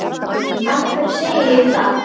Af hverju segi ég það?